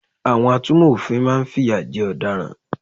Àwọn atúnmò òfin máa n fìyà jẹ ọ̀daràn